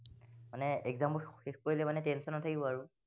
মানে exam বোৰ শেষ কৰিলে মানে tension নাথাকিব আৰু